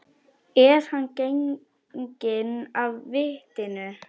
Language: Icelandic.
Er hann genginn af vitinu?